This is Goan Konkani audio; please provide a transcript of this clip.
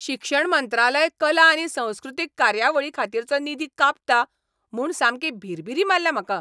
शिक्षण मंत्रालय कला आनी संस्कृतीक कार्यावळींखातीरचो निधी कांपता म्हूण सामकी भिरभिरी मारल्या म्हाका.